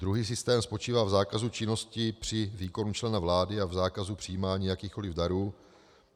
Druhý systém spočívá v zákazu činnosti při výkonu člena vlády a v zákazu přijímání jakýchkoliv darů.